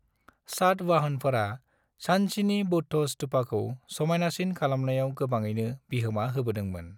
सातवाहनफोरा सांचीनि बौद्ध स्तूपाखौ समायनासिन खालामनायाव गोबाङैनो बिहोमा होबोदोंमोन।